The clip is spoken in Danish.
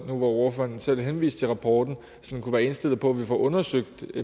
nu hvor ordføreren selv henviste til rapporten kunne være indstillet på at vi får undersøgt